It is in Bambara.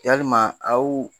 Yalima aw